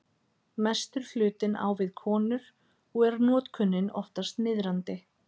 Mestur hlutinn á við konur og er notkunin oftast niðrandi.